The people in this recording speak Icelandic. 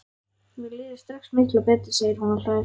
Mér líður strax miklu betur, segir hún og hlær.